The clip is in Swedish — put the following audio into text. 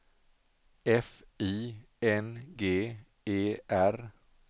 F I N G E R